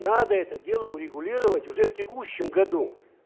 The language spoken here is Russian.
надо это дело урегулировать уже в текущем году